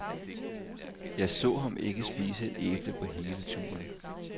Jeg så ham ikke spise et æble på hele turen.